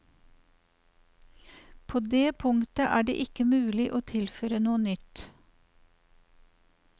På det punkt er det ikke mulig å tilføre noe nytt.